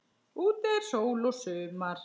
Úti er sól og sumar.